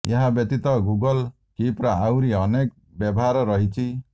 ଏହା ବ୍ୟତୀତ ଗୁଗଲ୍ କିପ୍ର ଆହୁରି ଅନେକ ବ୍ୟବହାର ରହିଛି